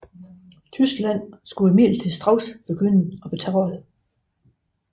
Tyskland skulle imidlertid straks begynde at betale